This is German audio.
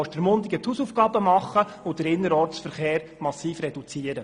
Ostermundigen muss die Hausaufgaben machen und den Innerortsverkehr massiv reduzieren.